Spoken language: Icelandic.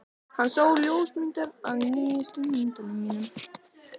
Hann sá ljósmyndir af nýjustu myndunum mínum.